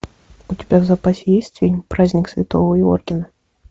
у тебя в запасе есть фильм праздник святого йоргена